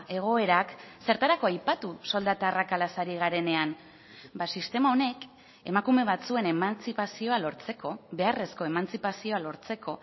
egoerak zertarako aipatu soldata arrakalaz ari garenean sistema honek emakume batzuen emantzipazioa lortzeko beharrezko emantzipazioa lortzeko